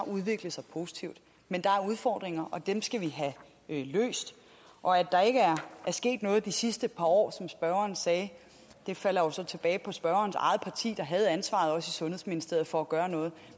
udviklet sig positivt men der er udfordringer og dem skal vi have løst og at der ikke er sket noget de sidste par år som spørgeren sagde falder jo så tilbage på spørgerens eget parti der havde ansvaret også i sundhedsministeriet for at gøre noget